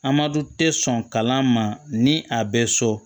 Amadu tɛ sɔn kalan ma ni a bɛ so